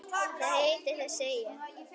Hvað heitir þessi eyja?